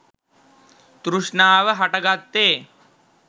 තෘෂ්ණාව හටගත්තේ.